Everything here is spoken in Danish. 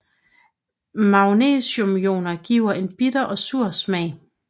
Magnesiumioner giver en bitter og sur smag